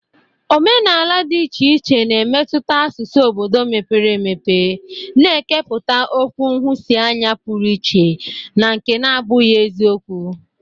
Omenala dị iche iche na-emetụta asụsụ obodo mepere emepe, na-ekepụta okwu nhụsianya pụrụ iche na nke na-abụghị eziokwu.